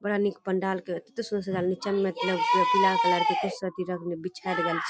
बड़ा निक पंडाल के कते सुन्दर सजायल नीचा मे मतलब बिछायल --